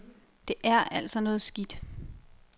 Det er altså noget skidt.